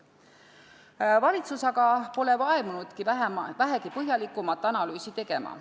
Valitsus aga pole vaevunud vähegi põhjalikumat analüüsi tegema.